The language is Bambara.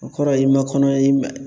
O kɔrɔ ye i ma kɔnɔ ye